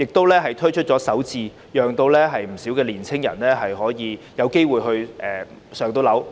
她又推出首置計劃，讓不少年青人有機會置業。